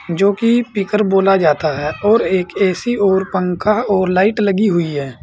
जो कि पीकर बोला जाता है और एक ए_सी और पंखा और लाइट लगी हुई है।